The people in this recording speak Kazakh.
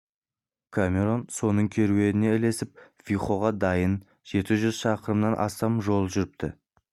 камерон соның керуеніне ілесіп вихоға дейін жеті жүз шақырымнан астам жол жүріпті